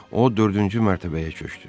O dördüncü mərtəbəyə köçdü.